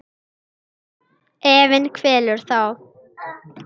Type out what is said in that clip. Efinn kvelur þá.